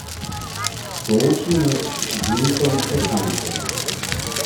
Sooči nas z mitom o Cankarju.